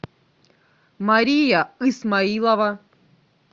мария исмаилова